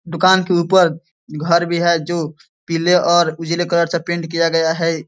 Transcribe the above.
दुकान के ऊपर घर भी है जो पीले और उजले कलर से पेंट किया गया है।